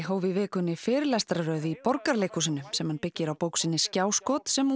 hóf í vikunni fyrirlestrarröð í Borgarleikhúsinu sem hann byggir á bók sinni skjáskot sem